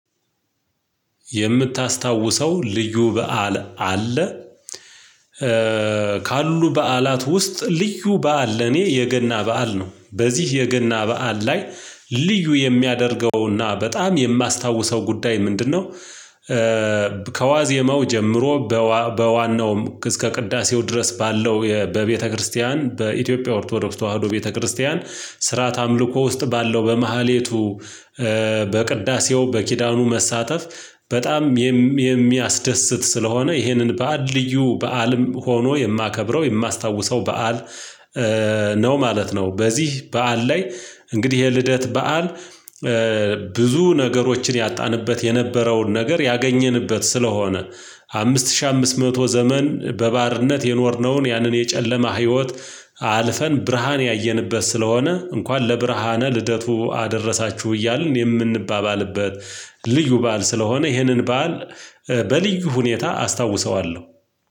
የምታስታውሰው ልዩ በዓል አለ? ካሉ በዓላት ውስጥ ልዩ በዓል ለኔ የገና በዓል ነው በዚህ የገና በዓል ላይ ልዩ የሚያደርገውና በጣም የማስታውሰው ጉዳይ ምንድነው? ከዋዜመው ጀምሮ በዋናውም እስከ ቅዳሴው ድረስ ባለው በቤተክርስቲያን በኢትዮጵያ ኦርቶዶክስ ተዋህዶ ቤተክርስቲያን ስርዓተ አምልኮ ውስጥ ባለው በመሃሌቱ በቅዳሴው በኪዳኑ መሳተፍ በጣም የሚያስደስት ስለሆነ ይህንን በዓል ልዩ በዓልም ሆኖ የማከብረው የማስታውሰው በዓል ነው ማለት ነው። በዚህ በዓል ላይ እንግዲህ ይሄ ልደት በዓል። ብዙ ነገሮችን ያጣንበት የነበረውን ነገር ያገኘንበት ስለሆነ። አምስት ሺህ አምስት መቶ ዘመን በባርነት የኖርነውን ያንን የጨለማ ህይወት። አልፈን ብርሃን ያየንበት ስለሆነ እንኳን ለብርሃነ ልደቱ አደረሳችሁ እያልን የምንባባልበት ልዩ በዓል ስለሆነ ይህንን በዓል። በልዩ ሁኔታ አስታውሰዋለሁ።